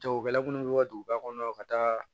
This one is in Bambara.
Jagokɛla minnu bɛ ka duguba kɔnɔ ka taa